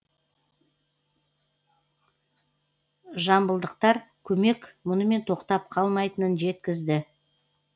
жамбылдықтар көмек мұнымен тоқтап қалмайтынын жеткізді